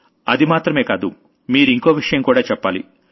అది మాత్రమే కాదు మీరింకో విషయం కూడా చెప్పాలి